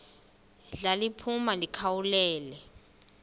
ndla liphuma likhawulele